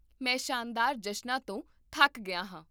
ਮੈਂ ਸ਼ਾਨਦਾਰ ਜਸ਼ਨਾਂ ਤੋਂ ਥੱਕ ਗਿਆ ਹਾਂ